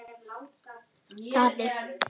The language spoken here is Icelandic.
Daði